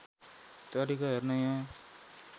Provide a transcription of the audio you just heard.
तरिका हेर्न यहाँ